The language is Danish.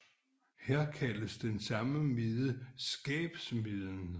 Her kaldes den samme mide skabmiden